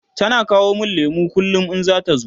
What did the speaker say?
tana kawo min lemu kullum in zata zo